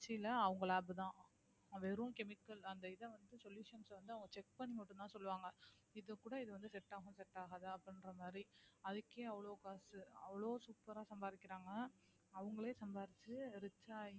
திருச்சியில அவங்க lab தான் வெறும் chemical அந்த இதை வந்து solutions அ வந்து அவங்க check பண்ணி மட்டும்தான் சொல்லுவாங்க இது கூட இது வந்து set ஆகும் set ஆகாது அப்படின்ற மாதிரி அதுக்கே அவ்ளோ காசு அவ்ளோ super ஆ சம்பாரிக்குறாங்க அவங்களோ சம்பாரிச்சு rich ஆயி